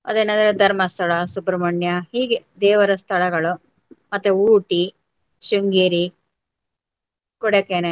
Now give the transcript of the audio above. ಅದೇನಂದ್ರೆ ಧರ್ಮಸ್ಥಳ, ಸುಬ್ರಮಣ್ಯ ಹೀಗೆ ದೇವರ ಸ್ಥಳಗಳು ಮತ್ತೆ ಊಟಿ, ಶ್ರಿಂಗೇರಿ, ಕೊಡಕನಲ್.